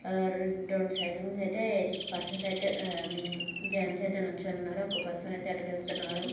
ఆ రెండు సైరన్స్ అయితే పర్సన్స్ అయితే హ ఐ మీన్ జెంట్స్ అయితే నిల్చోని ఉన్నారు.. ఒక పర్సన్ అయితే అటు వెళ్తున్నాడు.